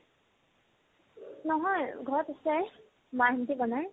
নহয় ঘৰত আছে মা হন্তে বনাই